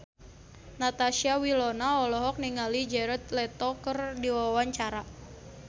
Natasha Wilona olohok ningali Jared Leto keur diwawancara